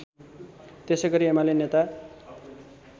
त्यसैगरी एमाले नेता